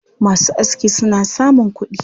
Masu aski suna samun kuɗi.